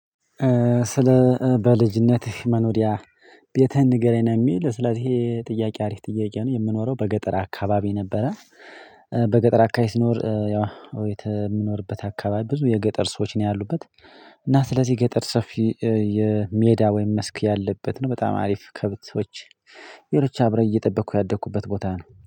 ስለ በልጅነትህ መኖሪያ ቤትህን ንገረኝ? ነው የሚል ስለዚህ ይሄ ጥያቄ አሪፍ ጥያቄ ነው የምኖረው በገጠር አካባቢ ነበረ። በገጠር አካባቢ ስኖር። የምኖርበት አካባቢ ብዙ የገጠር ሰዎች ነው ያሉበት። እና ስለዚህ ገጠር ሰፊ የሜዳ ወይም መስክ ያለበት ነው በጣም አሪፍ ከብቶች። ቤሮች አብረህ እየጠበቅኩ ያደግኩበት ቦታ ነው